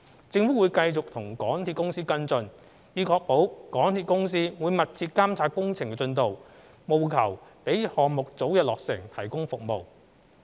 政府會繼續與港鐵公司跟進，以確保港鐵公司會密切監察工程進度，務求讓項目早日落成提供服務。